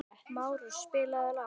Márus, spilaðu lag.